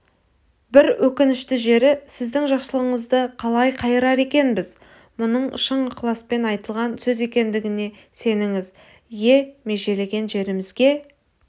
бір өкінішті жері сіздің жақсылығыңызды қалай қайырар екенбіз мұның шын ықыласпен айтылған сөз екендігіне сеніңіз ие межелеген жерімізге